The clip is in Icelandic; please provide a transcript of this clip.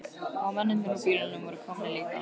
Og mennirnir úr bílunum voru komnir líka.